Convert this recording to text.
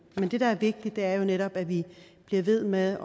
men det der er vigtigt er jo netop at vi bliver ved med at